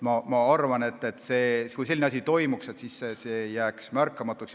Ma arvan, et kui selline asi toimuks, siis see ei jääks märkamatuks.